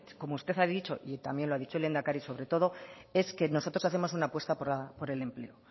porque como usted ha dicho y también lo ha dicho el lehendakari sobre todo es que nosotros hacemos una apuesta por el empleo